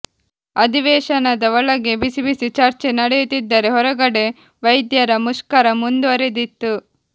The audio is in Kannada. ಅಧಿವೇಶನದ ಒಳಗೆ ಬಿಸಿ ಬಿಸಿ ಚರ್ಚೆ ನಡೆಯುತ್ತಿದ್ದರೆ ಹೊರಗಡೆ ವೈದ್ಯರ ಮುಷ್ಕರ ಮುಂದುವರಿದಿತ್ತು